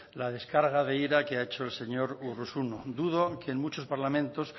la descarga de ira que ha hecho el señor urruzuno dudo que en muchos parlamentos